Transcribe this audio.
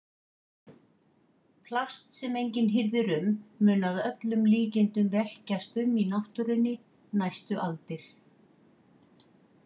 Plast sem enginn hirðir um mun að öllum líkindum velkjast um í náttúrunni næstu aldir.